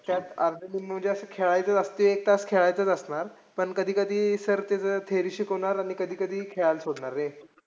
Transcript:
त्यात असं म्हणजे खेळायचं असतंय एक तास खेळायचं असणा. र पण कधी कधी sir त्याच theory शिकवणार, आणि कधी कधी खेळायला सोडणार रे.